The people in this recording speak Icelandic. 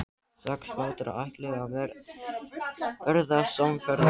Sex bátar ætluðu að verða samferða.